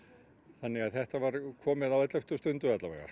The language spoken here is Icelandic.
þannig að þetta var komið á elleftu stundu